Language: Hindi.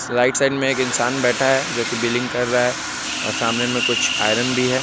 राइट साइड में एक इंसान बैठा है जो की बिलिंग कर रहा है और सामने में कुछ आयरन भी है।